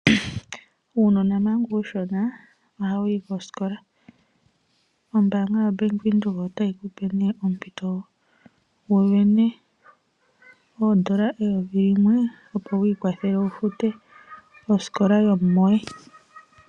Uunona manga uushona ohawu yi kosikola, ombaanga yaBank Windhoek otayi kupe ompito wusindane N$1000 opo wiikwathele wufute osikola yomumoye.